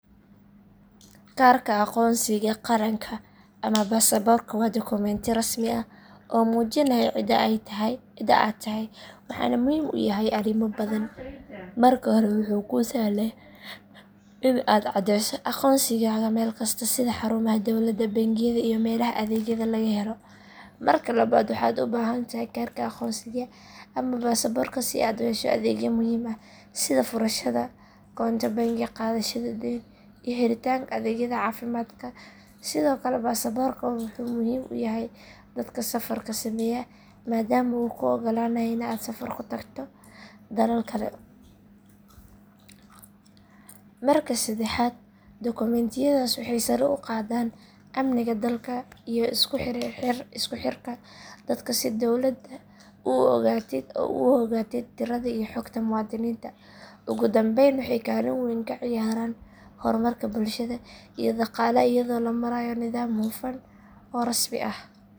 Kaarka aqoonsiga qaranka ama baasaborka waa dokumenti rasmi ah oo muujinaya cida aad tahay waxaana uu muhiim u yahay arrimo badan marka hore wuxuu kuu sahlayaa in aad caddeyso aqoonsigaaga meel kasta sida xarumaha dowladda bangiyada iyo meelaha adeegyada laga helo marka labaad waxaad u baahan tahay kaarka aqoonsiga ama baasaborka si aad u hesho adeegyo muhiim ah sida furashada koonto bangi qaadashada deyn iyo helitaanka adeegyada caafimaadka sidoo kale baasaborka wuxuu muhiim u yahay dadka safarka sameeya maadaama uu kuu oggolaanayo in aad safar ku tagto dalal kale marka saddexaad dokumentiyadaas waxay sare u qaadaan amniga dalka iyo isku xirka dadka si dowladda u ogaatid tirada iyo xogta muwaadiniinta ugu dambeyn waxay kaalin weyn ka ciyaaraan horumarka bulshada iyo dhaqaalaha iyadoo la marayo nidaam hufan oo rasmi ah.